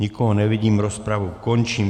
Nikoho nevidím, rozpravu končím.